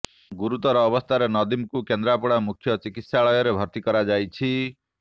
ଗୁରୁତର ଅବସ୍ଥାରେ ନଦିମ୍କୁ କେନ୍ଦ୍ରାପଡା ମୁଖ୍ୟ ଚିକିତ୍ସାଳୟରେ ଭର୍ତ୍ତି କରାଯାଇଛି